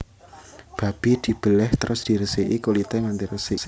Babi dibelèh terus diresiki kulité nganti resik